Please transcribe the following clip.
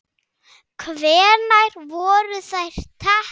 Hvenær voru þær teknar?